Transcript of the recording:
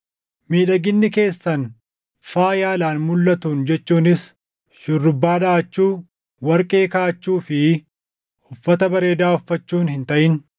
Miidhaginni keessan faaya alaan mulʼatuun jechuunis shurrubbaa dhaʼachuu, warqee kaaʼachuu fi uffata bareedaa uffachuun hin taʼin;